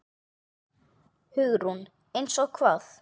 Hugrún: Eins og hvað?